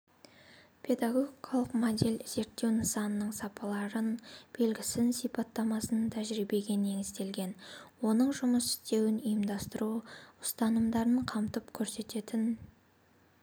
педагогикалық модель зерттеу нысанының сапаларын белгісін сипаттамасын тәжірибеге негізделген оның жұмыс істеуін ұйымдастыру ұстанымдарын қамтып көрсететін